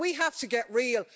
We have to get real.